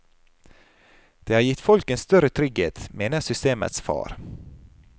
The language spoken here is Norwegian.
Det har gitt folk en større trygghet, mener systemets far.